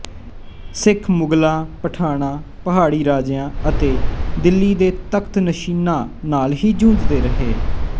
ਸਿੱਖ ਮੁਗ਼ਲਾਂ ਪਠਾਣਾਂ ਪਹਾੜੀ ਰਾਜਿਆਂ ਅਤੇ ਦਿੱਲੀ ਦੇ ਤਖ਼ਤ ਨਸ਼ੀਨਾਂ ਨਾਲ ਹੀ ਜੂਝਦੇ ਰਹੇ